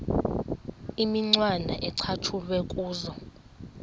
imicwana ecatshulwe kuzo